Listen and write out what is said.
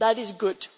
That is good.